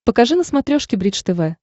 покажи на смотрешке бридж тв